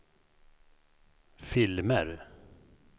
filmer